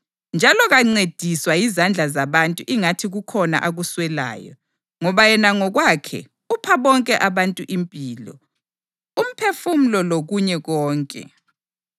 Njalo kancediswa yizandla zabantu ingathi kukhona akuswelayo, ngoba yena ngokwakhe upha bonke abantu impilo, umphefumulo lokunye konke.